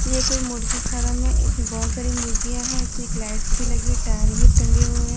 ये कोई मुर्गी फार्म है इसमें बहोत सारी मुर्गियां हैं इसमें एक लाइट्स भी लगी है टायर भी टंगे हुए हैं।